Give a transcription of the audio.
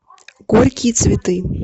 горькие цветы